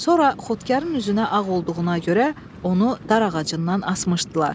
Sonra xodkarın üzünə ağ olduğuna görə onu dar ağacından asmışdılar.